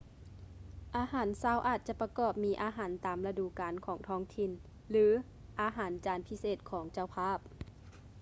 ອາຫານເຊົ້າອາດຈະປະກອບມີອາຫານຕາມລະດູການຂອງທ້ອງຖິ່ນ ຫຼື ອາຫານຈານພິເສດຂອງເຈົ້າພາບ